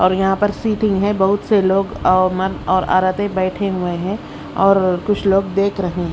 और यहां पर सीटिंग है। बहुत से लोग औ मर्द और औरते बैठे हुए हैं और कुछ लोग देख रहे हैं।